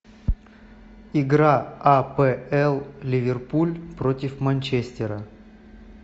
игра апл ливерпуль против манчестера